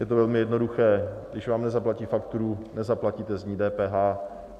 Je to velmi jednoduché: Když vám nezaplatí fakturu, nezaplatíte z ní DPH.